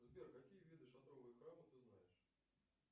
сбер какие виды шатровых храмов ты знаешь